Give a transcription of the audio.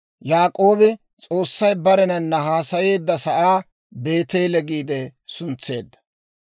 Yaak'oobi S'oossay barenana haasayeedda sa'aa «Beeteele» giide suntseedda.